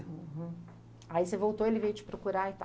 Aí você voltou, ele veio te procurar e tal.